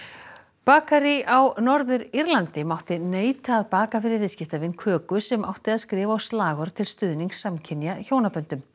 bakarí á Norður Írlandi mátti neita að baka fyrir viðskiptavin köku sem átti að skrifa á slagorð til stuðnings samkynja hjónaböndum